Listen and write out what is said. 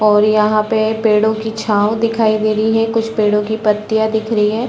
और यहाँ पे पेड़ों की छाव दिखाई दे रही है कुछ पेड़ों की पत्तियाँ दिख रही है।